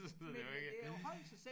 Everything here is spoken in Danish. Så det jo ikke